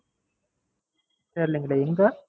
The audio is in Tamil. தெரிளிங்களே எங்க?